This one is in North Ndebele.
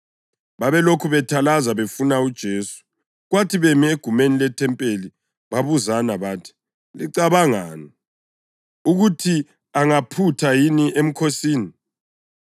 Babelokhu bethalaza befuna uJesu, kwathi bemi egumeni lethempeli babuzana bathi, “Licabangani? Ukuthi angaphutha yini emkhosini?”